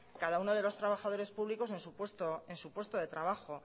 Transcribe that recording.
cada uno de los trabajadores públicos en su puesto de trabajo